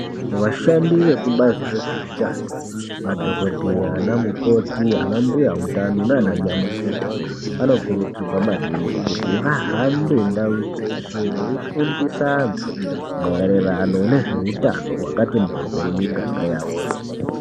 Vashandi vezvekubazi rezveutano madhogodheya, vanamukoti, vanambuya mutano nananyamukuta anokurudzirwa maningi kuti vahambe ndau dzeshe veifundisa antu maererano nezveutano hwakati mhoryo mumiganga yawoyo.